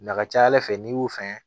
A ka ca ala fɛ n'i y'u fɛ